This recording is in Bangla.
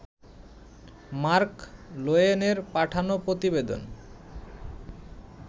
মার্ক লোয়েনের পাঠানো প্রতিবেদন